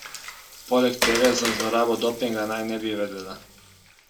Poleg tega za zlorabo dopinga naj ne bi vedela.